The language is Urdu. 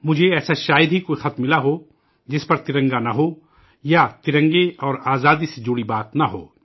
مجھے شاید ہی کوئی ایسا خط ملا ہو ، جس پر ترنگا نہ ہو، یا ترنگے اور آزادی سے متعلق بات نہ ہو